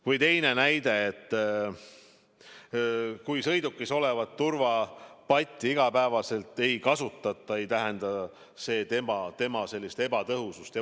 Või teine näide: kui sõidukis olevat turvapatja iga päev ei kasutata, ei tähenda see tema ebatõhusust.